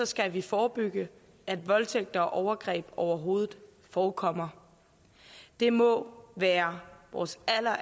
skal vi forebygge at voldtægt og overgreb overhovedet forekommer det må være vores